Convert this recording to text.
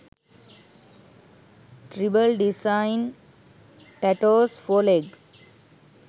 tribal design tattos for leg